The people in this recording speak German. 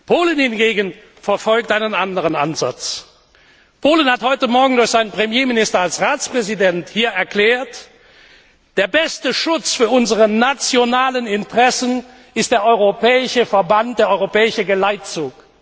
Polen hingegen verfolgt einen anderen Ansatz. Polen hat heute morgen durch seinen Premierminister als Ratspräsident hier erklärt Der beste Schutz unserer nationalen Interessen ist der europäische Verband, der europäische Geleitzug.